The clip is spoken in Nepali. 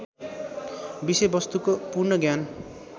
विषयवस्तुको पूर्ण ज्ञान